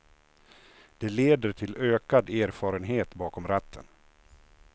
Det leder till ökad erfarenhet bakom ratten.